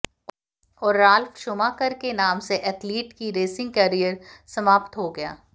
और Ralf Schumacher के नाम से एथलीट की रेसिंग कैरियर समाप्त हो गया